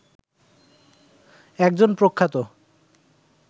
একজন প্রখ্যাত